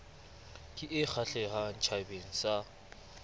ke e kgahlehang tjhabeng se